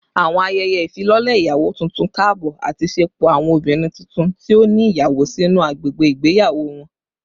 Awọn ayẹyẹ ifilọlẹ iyawo tuntun kaabọ ati ṣepọ awọn obinrin tuntun ti o ni iyawo sinu agbegbe igbeyawo wọn